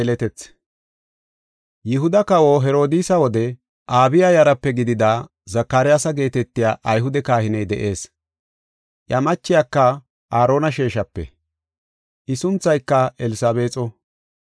Yihuda kawa Herodiisa wode Abiya yaraape gidida Zakaryaasa geetetiya Ayhude kahiney de7ees. Iya machiyaka Aarona sheeshape. I sunthayka Elsabeexo.